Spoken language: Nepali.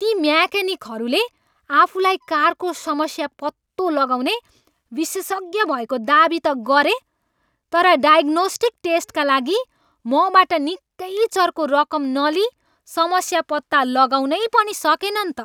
ती मेक्यानिकहरूले आफूलाई कारको समस्या पत्तो लगाउने विशेषज्ञ भएको दावी त गरे तर 'डायग्नोस्टिक टेस्ट' का लागि मबाट निकै चर्को रकम नलिई समस्या पत्ता लगाउनै पनि सकेनन् त?